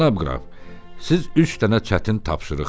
Cənab qraf, siz üç dənə çətin tapşırıq verin.